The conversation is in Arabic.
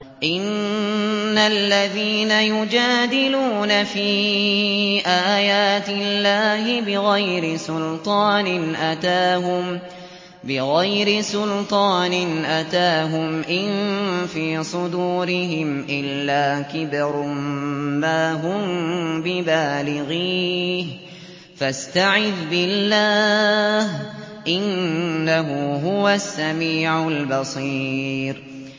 إِنَّ الَّذِينَ يُجَادِلُونَ فِي آيَاتِ اللَّهِ بِغَيْرِ سُلْطَانٍ أَتَاهُمْ ۙ إِن فِي صُدُورِهِمْ إِلَّا كِبْرٌ مَّا هُم بِبَالِغِيهِ ۚ فَاسْتَعِذْ بِاللَّهِ ۖ إِنَّهُ هُوَ السَّمِيعُ الْبَصِيرُ